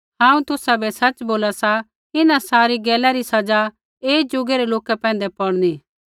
हांऊँ तुसाबै सच़ बोला सा इन्हां सारी गैला री सज़ा ऐई ज़ुगै रै लोका पैंधै पौड़नी